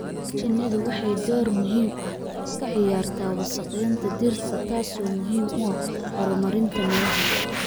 Shinnidu waxay door muhiim ah ka ciyaartaa wasakhaynta dhirta, taas oo muhiim u ah horumarinta miraha